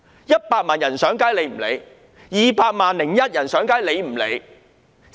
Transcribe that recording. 100萬人上街，她不理會 ；"200 萬加 1" 人上街，她不理會。